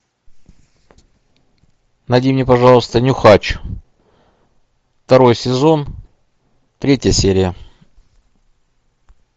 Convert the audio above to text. найди мне пожалуйста нюхач второй сезон третья серия